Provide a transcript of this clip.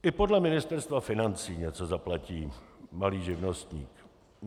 I podle Ministerstva financí něco zaplatí malý živnostník.